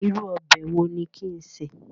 Irú ọbẹ̀ wo ni kin ṣè?